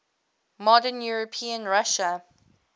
modern european russia